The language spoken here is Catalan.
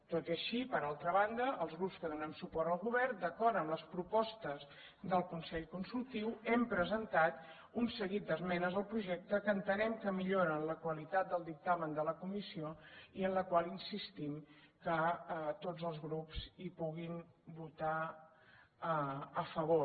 tot i així per altra banda els grups que donem suport al govern d’acord amb les propostes del consell consultiu hem presentat un seguit d’esmenes al projecte que entenem que milloren la qualitat del dictamen de la comissió i en la qual insistim que tots els grups hi puguin votar a favor